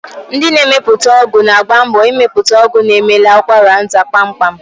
Ndị na-emepụta ọgwụ na-agba mbọ ịmepụta ọgwụ na-emela ụkwaranta kpamkpam.